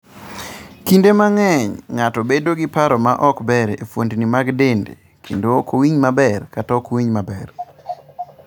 Kinde mang'eny, ng'ato bedo gi paro ma ok ber e fuondni mag dende, kendo ok owinj maber kata ok owinj maber.